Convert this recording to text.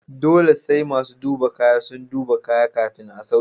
Dole sai masu duba kaya sun duba kaya kafin a sauke.